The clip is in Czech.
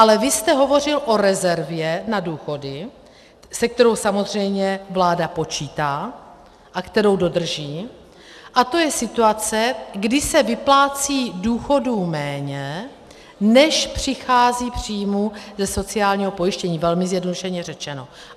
Ale vy jste hovořil o rezervě na důchody, se kterou samozřejmě vláda počítá a kterou dodrží, a to je situace, kdy se vyplácí důchodů méně, než přichází příjmů ze sociálního pojištění, velmi zjednodušeně řečeno.